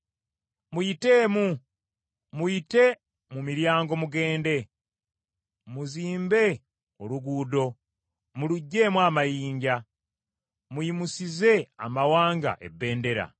Muyiteemu, muyite mu miryango mugende! Muzimbe oluguudo, mulugyemu amayinja. Muyimusize amawanga ebbendera.